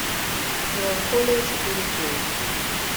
меланхолия четыре кей